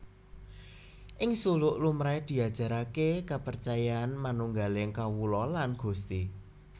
Ing Suluk lumrahé diajaraké kapercayan manunggaling kawula lan Gusti